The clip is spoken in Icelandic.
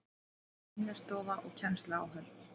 Vinnustofa og kennsluáhöld